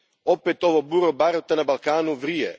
Opet ovo bure baruta na Balkanu vrije.